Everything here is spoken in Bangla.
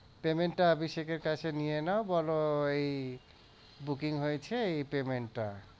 payment টা অভিষেক এর কাছে নিয়ে নাও বল এই booking হয়েছে এই payment টা।